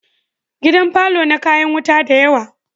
Gidan parlour na kayan wuta da yawa